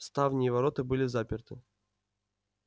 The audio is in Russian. ставни и ворота были заперты